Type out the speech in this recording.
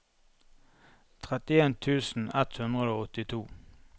trettien tusen ett hundre og åttito